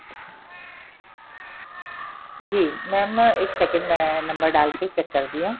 ਜੀ mam ਇੱਕ second ਮੈਂ number ਡਾਲ ਕੇ check ਕਰਦੀ ਆ